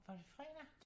Var det fredag?